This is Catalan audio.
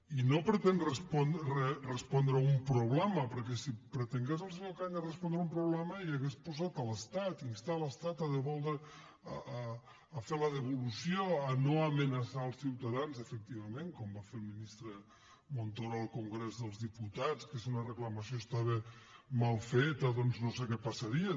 i no pretén respondre a un problema perquè si pretengués el senyor cañas respondre a un problema hi hauria posat l’estat instar l’estat a resoldre a fer la devolució a no amenaçar els ciutadans efectivament com va fer el ministre montoro al congrés dels diputats que si una reclamació estava mal feta doncs no sé què passaria